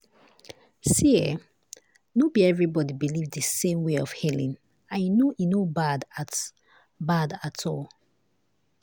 see[um]no be everybody believe the same way of healing and you know e no bad at no bad at all.